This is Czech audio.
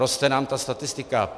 Roste nám ta statistika.